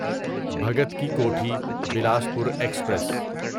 Bhagat Ki Kothi Bilaspur express